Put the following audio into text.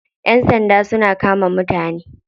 Yan sanda suna kama mutane.